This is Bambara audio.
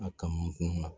A kanukun na